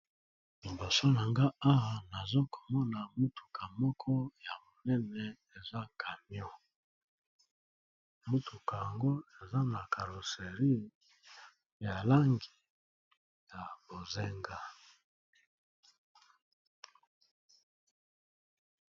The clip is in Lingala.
Liboso na nga awa nazomona mutuka moko ya munene eza camion eza na carrosserie ya langi ya bozenga.